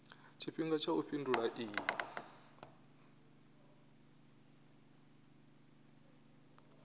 tshifhinga tsha u fhindula iyi